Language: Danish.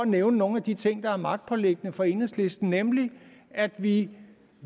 nævne nogle af de ting der er magtpåliggende for enhedslisten nemlig at vi